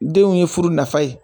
Denw ye furu nafa ye